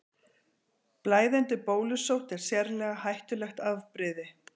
Blæðandi bólusótt er sérlega hættulegt afbrigði.